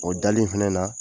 O dali in fɛnɛ na